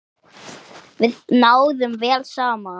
Við náðum vel saman.